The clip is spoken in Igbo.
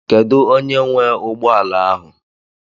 Kedụ onye nwee ụgbọala ahụ?